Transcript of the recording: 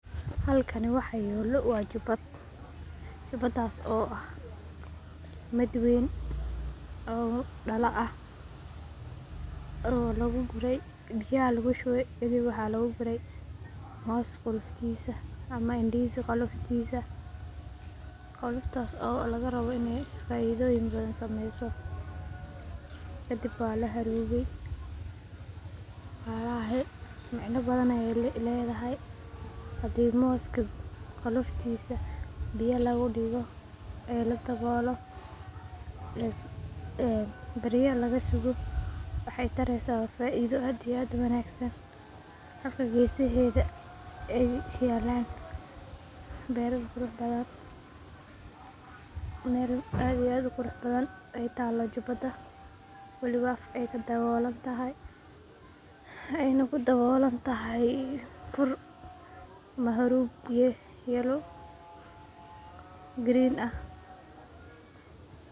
Halkani waxa yalo waa jubad, jubadas oo ah mid weyn oo dalaa ah oo lagugurey biya aya lagushubey waxa lagu gurey mos qofoftisa ama ndozi koloftisa, qoloftas oo lagarabo inay faidoyin badhan sameyso, kadib waa laharubi micna badhan ayay ledahay, hadi moska qoloftisa biyaa lagudigo ee laadabolo berya lagasugo waxay tareyso waa faido aad iyo aad uwanagsan, birta gesaheda ay yalan beral quraxbadhan, meel aad iyo aad uquraxbadhan aay talo jubada, welibo afka aay kadabolantoho aay nah kudabolantahay fur amaa harub yellow ah ama green ah.